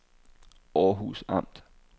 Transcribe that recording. Århus Amt